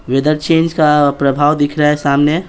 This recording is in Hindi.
वेदर चेंज का प्रभाव दिख रहा हैसामने।